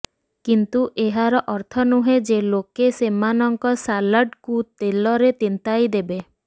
କିନ୍ତୁ ଏହାର ଅର୍ଥ ନୁହେଁ ଯେ ଲୋକେ ସେମାନଙ୍କ ସାଲାଡ୍କୁ ତେଲରେ ତିନ୍ତାଇ ଦେବେ